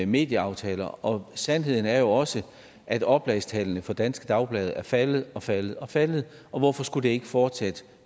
medieaftaler og sandheden er jo også at oplagstallene for danske dagblade er faldet og faldet og faldet og hvorfor skulle det ikke fortsætte